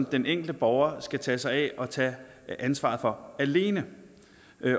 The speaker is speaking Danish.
den enkelte borger skal tage sig af og tage ansvaret for alene